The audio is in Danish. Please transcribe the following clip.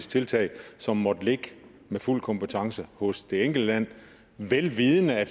tiltag som måtte ligge med fuld kompetence hos det enkelte land vel vidende at